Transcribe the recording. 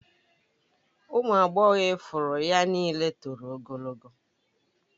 Ụmụ agbọghọ ifuru ya niile toro ogologo